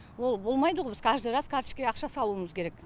ол болмайды ғой біз каждый раз карточкіге ақша салуымыз керек